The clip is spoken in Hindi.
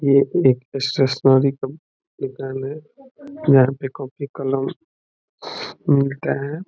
यह एक स्टेशनरी का दुकान है यहाँ पे कॉपी कलम मिलता है।